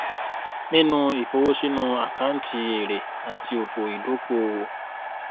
ninu ifowosinu akanti ere ati ofo idokoowo